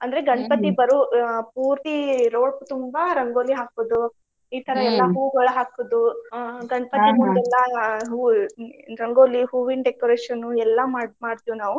ಅಂದ್ರೆ ಬರು ಆ ಪೂರ್ತಿ road ತುಂಬಾ ರಂಗೋಲಿ ಹಾಕುದು ಈ ತರಾ ಹೂಗೊಳ ಹಾಕೋದು ಆ ಎಲ್ಲಾ ಆ ಹೂವ್ ರಂಗೋಲಿ ಹೂವಿನ decoration ಉ ಎಲ್ಲಾ ಮಾಡ್~ ಮಾಡ್ತೇವ್ ನಾವು.